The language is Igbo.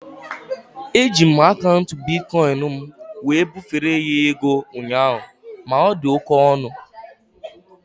Eji m akaụntụ bitkọin m wee bufere ya ego ụnyaahụ ma ọ dị oké ọnụ